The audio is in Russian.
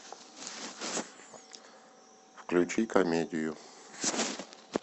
включи комедию